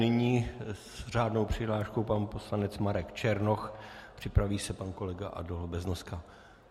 Nyní s řádnou přihláškou pan poslanec Marek Černoch, připraví se pan kolega Adolf Beznoska.